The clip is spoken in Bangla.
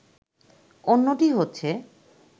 অন্যটি হচ্ছে